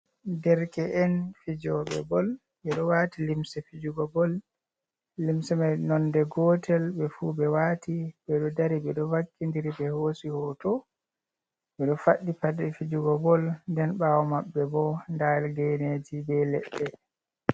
Derke en fijobe bol, ɓeɗo wati limse fijugo bol, limse mai nonde gotel, ɓefu ɓe wati ɓedo dari, ɓeɗo vakkindiri ɓe hosi hoto, ɓeɗo faddi paɗe fijugo bol, nden bawo mabbe bo da geneji be leɗɗe.